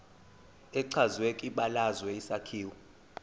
echazwe kwibalazwe isakhiwo